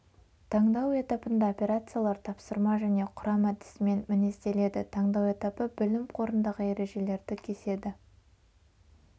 таңдау этапында операциялар тапсырма және құрам әдісімен мінезделеді таңдау этапы білім қорындағы ережелерді кеседі